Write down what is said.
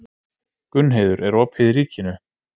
Gunnheiður, er opið í Ríkinu?